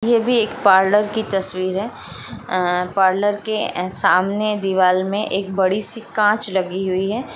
ये भी एक पार्लर की तस्वीर है पार्लर के सामने दीवाल में एक बड़ी सी काँच लगी हुई है।